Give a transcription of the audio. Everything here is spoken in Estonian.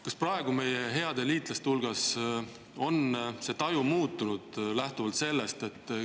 Kas meie heade liitlaste hulgas on see taju muutunud?